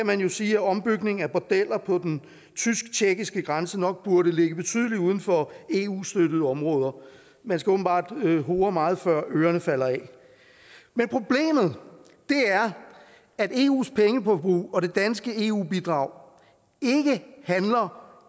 man jo sige at ombygning af bordeller på den tysk tjekkiske grænse nok burde ligge betydeligt uden for eu støttede områder man skal åbenbart hore meget før ørerne falder af men problemet er at eus pengeforbrug og det danske eu bidrag ikke